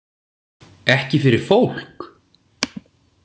Ekki fyrir fólk?